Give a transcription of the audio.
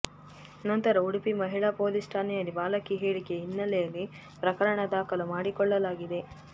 ನಂತರ ಉಡುಪಿ ಮಹಿಳಾ ಪೊಲೀಸ್ ಠಾಣೆಯಲ್ಲಿ ಬಾಲಕಿ ಹೇಳಿಕೆ ಹಿನ್ನೆಲೆಯಲ್ಲಿ ಪ್ರಕರಣ ದಾಖಲು ಮಾಡಿಕೊಳ್ಳಲಾಗಿದೆ